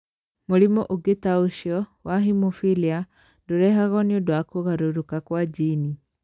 Mũrimũ ũngĩ ta ũcio, wa hemophilia, ndũrehagwo nĩ ũndũ wa kũgarũrũka kwa jini.